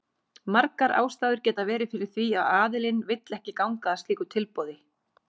Margar ástæður geta verið fyrir því að aðilinn vill ekki ganga að slíku tilboði.